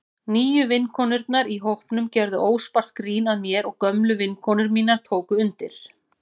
Nýju vinkonurnar í hópnum gerðu óspart grín að mér og gömlu vinkonur mínar tóku undir.